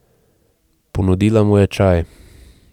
Ponudila mu je čaj.